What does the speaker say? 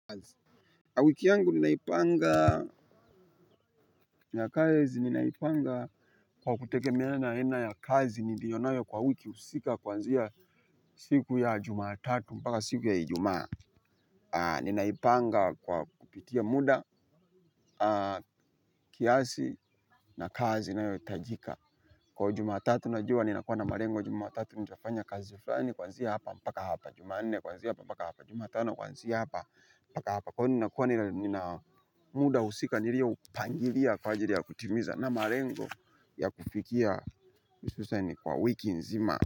Wiki yangu ninaipanga ya kazi ninaipanga kwa kutegemea na aina ya kazi niliyo nayo kwa wiki husika kuanzia siku ya jumatatu mpaka siku ya ijumaa. Ninaipanga kwa kupitia muda kiasi na kazi inayohitajika. Kwa jumatatu najua ninakuwa na malengo jumatatu nitafanya kazi fulani kuanzia hapa mpaka hapa. Jumanne kuanzia hapa mpaka hapa. Jumatano kuanzia hapa hapa kwani ninakuwa nina muda husika nilioupangilia kwa ajili ya kutimiza na malengo ya kufikia hususan kwa wiki nzima.